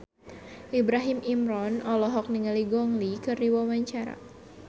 Ibrahim Imran olohok ningali Gong Li keur diwawancara